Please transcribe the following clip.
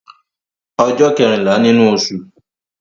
Ọjọ́ kẹ́rìnlá nínú osù